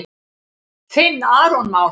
Þinn Aron Már.